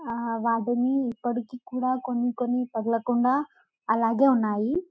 వాటికి ఇప్పటికి కూడా కొన్ని కొన్ని తగలకుండా అలాగే ఉన్నాయి .